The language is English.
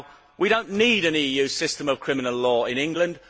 We do not need an EU system of criminal law in England.